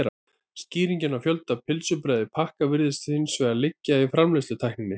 Skýringin á fjölda pylsubrauða í pakka virðist hins vegar liggja í framleiðslutækninni.